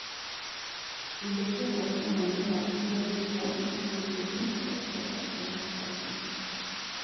Indo cia gwaka mũmera iria irĩ ho nĩta naitrojeni, phosphorus kana potassium